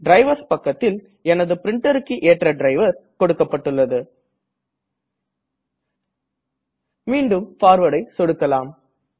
drivers பக்கத்தில் எனது printerக்கு ஏற்ற டிரைவர் கொடுக்கப்பட்டுள்ளது மீண்டும் Forwardஐ சொடுக்கலாம்